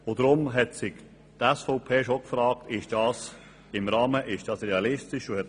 Darum hat sich die SVP gefragt, ob das im Rahmen und realistisch sei.